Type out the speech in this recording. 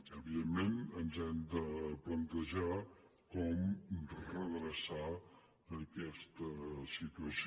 evidentment ens hem de plantejar com redreçar aquesta situació